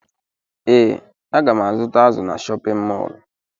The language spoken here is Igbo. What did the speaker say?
Ee, aga m azụta azụ na chọpịn mọọlụ.